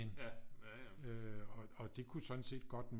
Og det kunne sådan set godt